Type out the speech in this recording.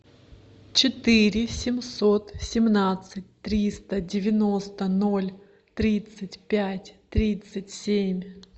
четыре семьсот семнадцать триста девяносто ноль тридцать пять тридцать семь